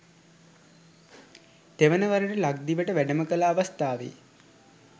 තෙවන වරට ලක්දිවට වැඩම කළ අවස්ථාවේ